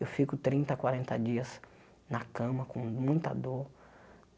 Eu fico trinta, quarenta dias na cama com muita dor.